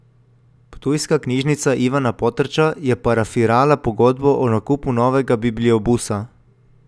Ptujska knjižnica Ivana Potrča je parafirala pogodbo o nakupu novega bibliobusa.